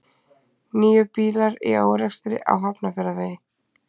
Níu bílar í árekstri á Hafnarfjarðarvegi